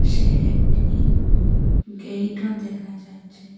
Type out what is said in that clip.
সে একটি গেইটও দেখা যাচ্ছে।